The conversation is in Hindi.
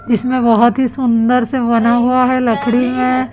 इसमें बहोत ही सुंदर से बना हुआ है लकड़ी में--